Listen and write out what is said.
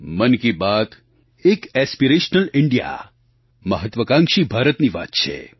મન કી બાત એક aspirational India મહત્ત્વાકાંક્ષી ભારતની વાત છે